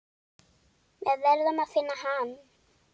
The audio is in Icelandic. Við verðum að finna hann.